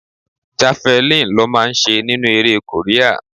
Javelin lọ máa ń ṣe nínú eré Korea.